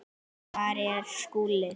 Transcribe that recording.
Hvar er Skúli?